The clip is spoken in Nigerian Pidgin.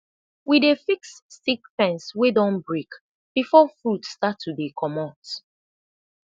we dey fix stick fence wey don break befor fruit start to de comot